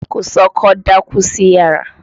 Kòsọ́kọ́ dákú sí yàrá.